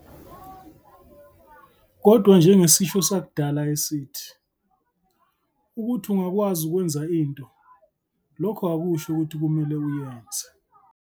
Kodwa njengesisho sakudala esithi, ukuthi ungakwazi ukwenza into, lokho akusho ukuthi kumele uyenze.